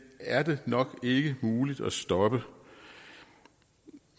er det nok ikke muligt at stoppe